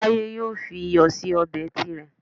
Táyé yóò fi iyọ̀ sí ọbẹ̀ tirẹ̀